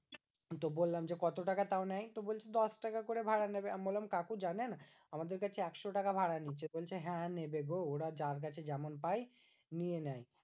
তো বললাম যে কত টাকা তাও নেয়? তো বলছে দশটাকা করে ভাড়া নেবে। আমি বললাম কাকু জানেন? আমাদের কাছে একশো টাকা ভাড়া নিচ্ছে। বলছে হ্যাঁ নেবে গো ওরা যার কাছে যেমন পায় নিয়ে নেয়।